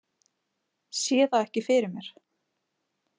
Sé það ekki fyrir mér.